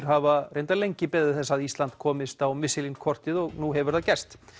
hafa lengi beðið þess að Ísland komist á kortið og nú hefur það gerst